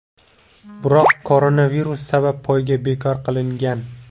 Biroq koronavirus sabab poyga bekor qilingan.